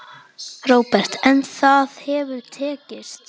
Róbert: En það hefur tekist?